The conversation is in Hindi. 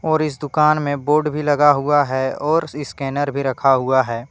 और इस दुकान में बोर्ड भी लगा हुआ है और स्कैनर भी रखा हुआ है।